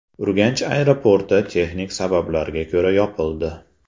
Urganch aeroporti texnik sabablarga ko‘ra yopildi.